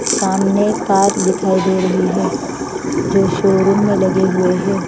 सामने कार दिखाई दे रही है जो शोरूम में लगे हुए हैं।